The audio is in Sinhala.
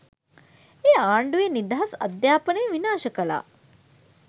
එය ආණ්ඩුව නිදහස් අධ්‍යාපනය විනාශ කලා